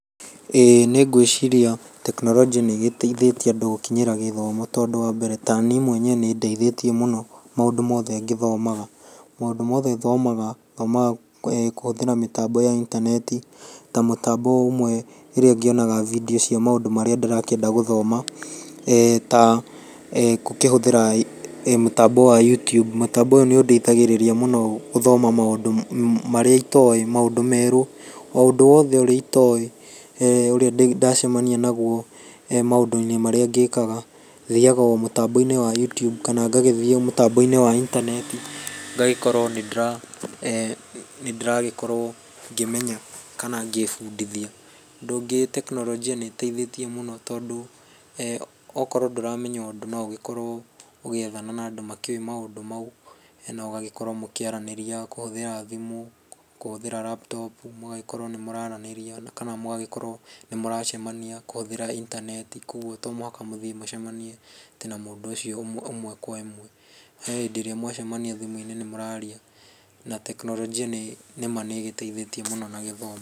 Ĩĩ nĩgwĩciria tekinoronjĩ nĩgĩteithĩtie andũ gũkinyĩra gĩthomo tondũ wa mbere tani mwenye nĩndeithĩtie mũno maundũ mothe ngĩthomaga, maũndũ mothe thomaga, thomaga kũhũthĩra mĩtambo ya intaneti ta mũtambo ũmwe ĩrĩa ngĩonaga video cia maũndũ marĩa ndĩrakĩenda gũthoma eeh ta kũhũthĩra mĩtambo ya Youtube, mũtambo ũyũ nĩũndeithagĩrĩria mũno gũthoma maũndũ marĩa itoĩ maũndũ merũ oũndũ wothe ũrĩa itoĩ [eeeh]ũrĩa ndacemania nauo maũndũinĩ marĩa ngĩkaga, thiaga omũtamboinĩ wa Youtube kana ngathiĩ mũtamboinĩ wa itaneti ngagĩkorwo nĩndĩragĩkorwo ngĩmenya kana ngĩbudithia, ũndũ ũngĩ tekinoronjĩ nĩteithĩtie mũno tondũ [eeh]wokorwo ndũramenya ũndũ noũkorwo ũgeithana na andũ makĩoĩ maũndũ mau na ũgagĩkorwo ũkĩaranĩria kũhũthĩra thimũ, kũhũthĩra laptop, mũgagĩkorwo nĩmũrananĩria kana mũgagĩkorwo nĩmũracemania kũhũthĩra intaneti to mũhaka mũthii mũcemaanie atĩ na mũndũ ũcio ĩmwe kwa ĩmwe, ehĩndĩ mũngĩcemania thimũinĩ nĩmũraria na tekinoronjĩ nĩma nĩgĩteithĩtie mũno na gĩthomo.